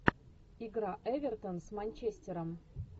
игра эвертон с манчестером